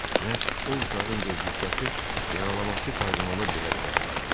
Məhz o uşağın de Juşakı yaralaması kardinalı belə qəzəbləndirib.